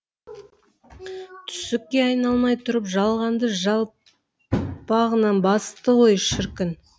түсікке айналмай тұрып жалғанды жалпағынан басты ғой шіркін